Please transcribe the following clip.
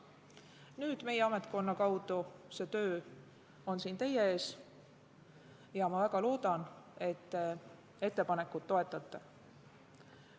Nüüd on meie ametkonna kaudu see töö siia teie ette jõudnud ja ma väga loodan, et te ettepanekut toetate.